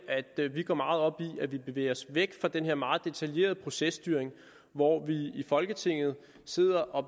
at vi går meget op i at vi bevæger os væk fra den her meget detaljerede processtyring hvor vi i folketinget sidder og